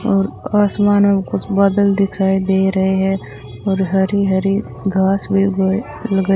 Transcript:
और आसमान में कुछ बादल दिखाई दे रहे है और हरी हरी घास उग लगा --